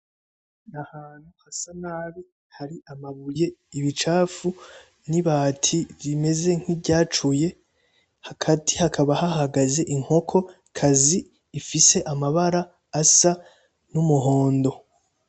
Ahantu hasa nabi har'amabuye, ibicafu n'ibati rimeze nkirya cuye, hagati hakaba hahagaze inkokokazi ifise amabara asa n'umuhondo.